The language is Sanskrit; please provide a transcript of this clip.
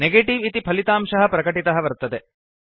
नेगेटिव इति फलितांशः प्रकटितः वर्तते